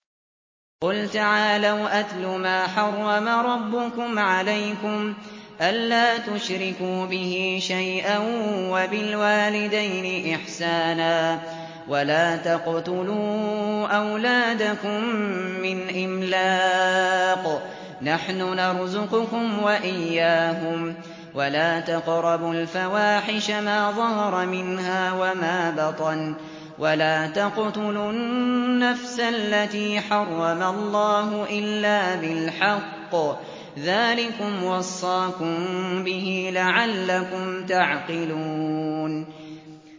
۞ قُلْ تَعَالَوْا أَتْلُ مَا حَرَّمَ رَبُّكُمْ عَلَيْكُمْ ۖ أَلَّا تُشْرِكُوا بِهِ شَيْئًا ۖ وَبِالْوَالِدَيْنِ إِحْسَانًا ۖ وَلَا تَقْتُلُوا أَوْلَادَكُم مِّنْ إِمْلَاقٍ ۖ نَّحْنُ نَرْزُقُكُمْ وَإِيَّاهُمْ ۖ وَلَا تَقْرَبُوا الْفَوَاحِشَ مَا ظَهَرَ مِنْهَا وَمَا بَطَنَ ۖ وَلَا تَقْتُلُوا النَّفْسَ الَّتِي حَرَّمَ اللَّهُ إِلَّا بِالْحَقِّ ۚ ذَٰلِكُمْ وَصَّاكُم بِهِ لَعَلَّكُمْ تَعْقِلُونَ